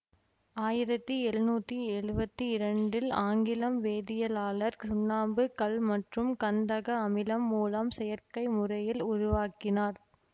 ஆயிரத்தி எழுநூத்தி எழுவத்தி இரண்டில் ஆங்கிலம் வேதியியலாளர் சுண்ணாம்பு கல் மற்றும் கந்தக அமிலம் மூலம் செயற்கை முறையில் உருவாக்கினார்